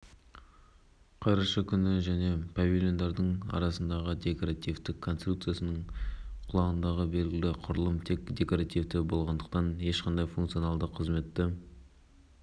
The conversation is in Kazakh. парасат орденіне жақып марабаев құрмет орденіне құрманғазы есқазиев балтабай қуанышев серік нұрлан ие болды сонымен